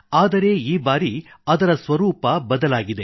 ಆದರೆ ಈ ಬಾರಿ ಅದರ ಸ್ವರೂಪ ಬದಲಾಗಿದೆ